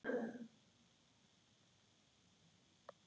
Til hvers mamma?